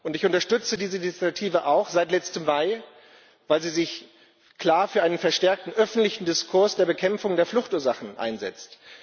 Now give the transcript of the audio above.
Ich unterstütze diese Initiative auch seit letztem Mai, weil sie sich klar für einen verstärkten öffentlichen Diskurs der Bekämpfung der Fluchtursachen einsetzt.